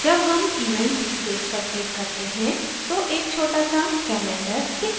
जब हम event date पर click करते हैं तो एक छोटा सा calendar दिखता है